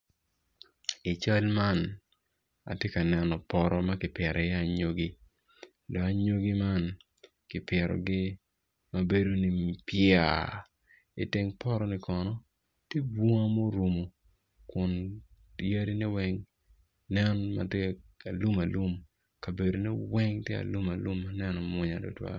I cal man atye ka neno poto ma kipito iye anyogi dong anyogi man kipitogi ma bedo nipaia i teng poto ni kono tye bunga murumo kun yadine nen ma obedo alumalum kabedone weng tye alumalum ma neno mwonya tutwal.